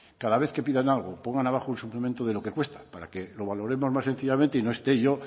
cada vez que pidan algo pongan abajo un suplemento de lo que cuesta para que lo valoremos más sencillamente y no esté yo